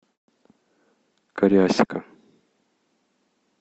кариасика